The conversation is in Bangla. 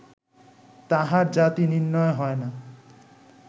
তাঁহার জাতি নির্ণয় হয় না